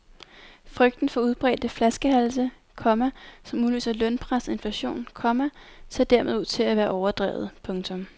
Frygten for udbredte flaskehalse, komma som udløser lønpres og inflation, komma ser dermed ud til at være overdrevet. punktum